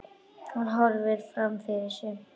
Hann horfir fram fyrir sig.